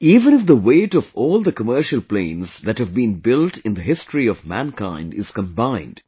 Even if the weight of all the commercial planes that have been built in the history of mankind is combined,